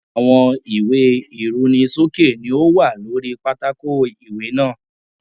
Àwọn ìwé ìrunisókè ni ó wà lóri pátákò ìwé náà.